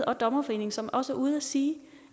og dommerforeningen som også er ude og sige